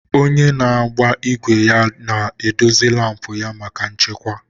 Onye na-agba igwe ya ga-edozi isi laampụ ya maka nchekwa.